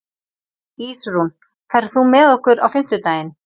Ísrún, ferð þú með okkur á fimmtudaginn?